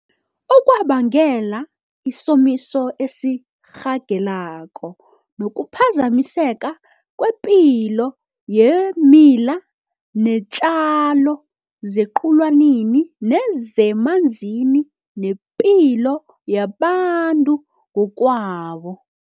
okwabangela isomiso esirhageleko nokuphazamiseka kwepilo yeemila neentjalo zequlwanini nezemanzini nepilo yabantu ngokwabo.